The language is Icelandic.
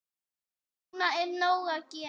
Núna er nóg að gera.